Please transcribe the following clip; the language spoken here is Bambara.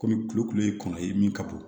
Kɔmi kulukulu ye kɔnɔ ye min ka bon